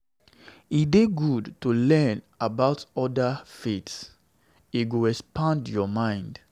E dey good to learn about oda faiths; e go expand your mind.